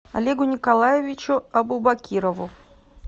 олегу николаевичу абубакирову